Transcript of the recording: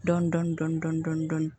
Dɔɔnin dɔɔnin dɔɔnin